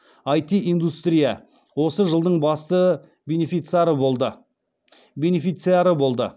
іт индустрия осы жылдың басты бенефециары болды